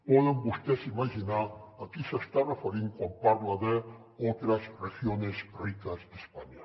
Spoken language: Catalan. poden vostès imaginar a qui s’està referint quan parla de otras regiones ricas de españa